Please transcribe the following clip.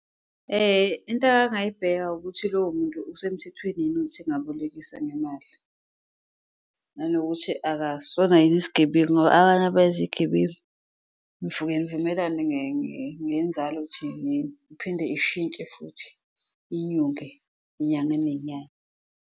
Into akangayibheka ukuthi lowo muntu usemthethweni yini ukuthi angabolekisa ngemali nanokuthi akasona yini isigebengu ngoba abanye abayizigebengu. Nifuke nivumelane ngenzalo thizeni, iphinde ishintshe futhi inyuke inyanga nenyanga.